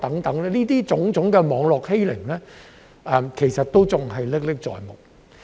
這種種網絡欺凌其實仍然歷歷在目。